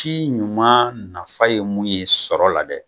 Ci ɲuman nafa ye mun ye sɔrɔ la dɛ